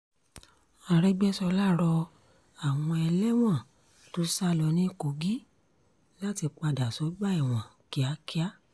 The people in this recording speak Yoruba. àrègbèsọlá rọ àwọn ẹlẹ́wọ̀n tó sá lọ ní kogi láti padà sọ́gbà ẹ̀wọ̀n kíákíá